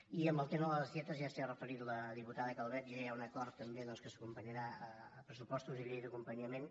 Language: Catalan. i en el tema de les dietes ja s’hi ha referit la diputada calvet ja hi ha un acord també doncs que s’acompanyarà a pressupostos i llei d’acompanyament